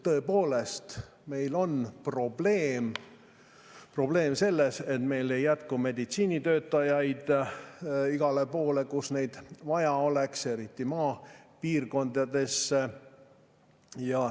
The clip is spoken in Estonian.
Tõepoolest on probleem selles, et meil ei jätku meditsiinitöötajaid igal pool, kus neid vaja oleks, eriti maapiirkondades.